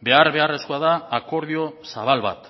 behar beharrezkoa da akordio zabal bat